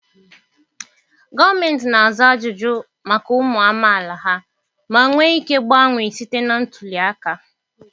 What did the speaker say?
Gọọmenti na-aza ajụjụ maka ụmụ amaala ha ma nwee ike gbanwee site na ntuli aka.